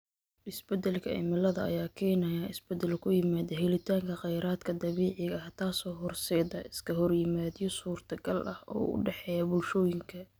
Isbeddelka cimilada ayaa keenaya isbeddel ku yimaada helitaanka kheyraadka dabiiciga ah, taasoo horseedda iskahorimaadyo suurtagal ah oo u dhexeeya bulshooyinka.